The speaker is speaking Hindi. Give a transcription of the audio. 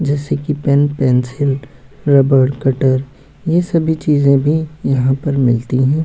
जैसे की पेन पेंसिल रबर कटर ये सब भी चीजे भी यहाँ पर मिलती हैं।